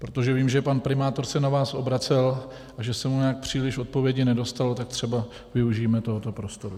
Protože vím, že pan primátor se na vás obracel a že se mu nějak příliš odpovědi nedostalo, tak třeba využijme tohoto prostoru.